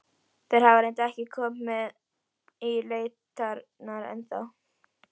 Þeir hafa reyndar ekki komið í leitirnar ennþá.